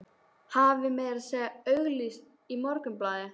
Hafði meira að segja auglýst í Morgunblaðinu.